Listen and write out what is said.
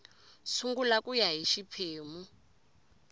sungula ku ya hi xiphemu